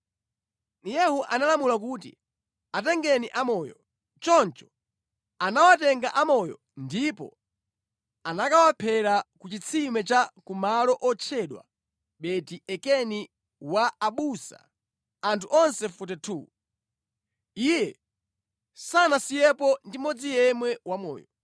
Yehu analamula kuti, “Atengeni amoyo!” Choncho anawatenga amoyo ndipo anakawaphera ku chitsime cha ku malo otchedwa Beti-Ekedi wa abusa; anthu onse 42. Iye sanasiyepo ndi mmodzi yemwe wamoyo.